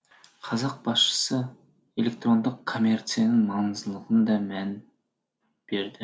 қазақ басшысы электрондық коммерцияның маңыздылығына да мән берді